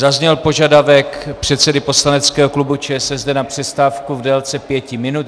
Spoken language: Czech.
Zazněl požadavek předsedy poslaneckého klubu ČSSD na přestávku v délce pěti minut.